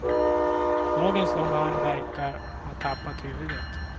Lagens långa arm verkar ha tappat huvudet.